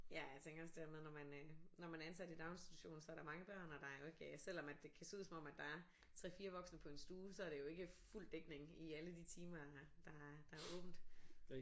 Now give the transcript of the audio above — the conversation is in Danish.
Ja jeg tænker også det her med når man øh når man er ansat i daginstitution så er der mange børn og der er jo ikke selvom at det kan se ud som om at der er 3 4 voksne på en stue så er det jo ikke fuld dækning i alle de timer der der er åbnet